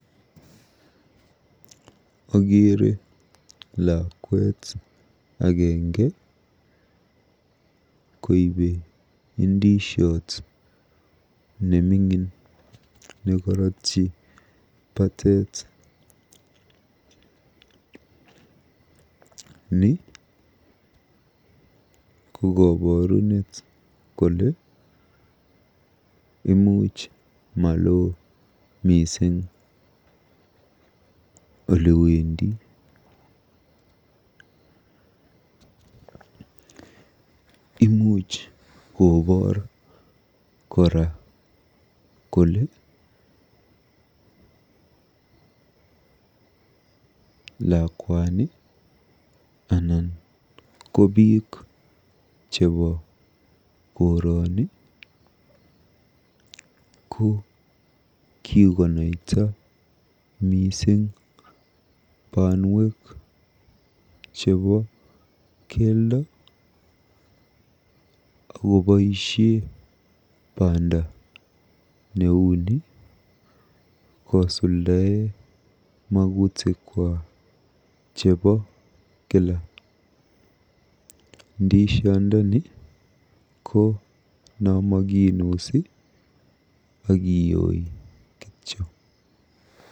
Akeere lakwet agenge koibe ndisiot neming'in nekorotyi bateet. Ni ko koborunet kole maloo mising olewendi. Imuch koboor kora kole lakwani anan ko biik chebo koroni kikonaita mising banwek chebo keldo akoboisie mising banda neuni kosuldae magutikwa chebo kila. Ndishiondoni ko namakinusii akiyooi kityo.